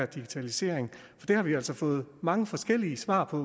digitalisering det har vi altså fået mange forskellige svar på